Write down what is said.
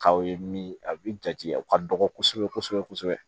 K'aw ye min a bi jate u ka dɔgɔ kosɛbɛ kosɛbɛ